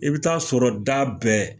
I bi taa sɔrɔ da bɛɛ.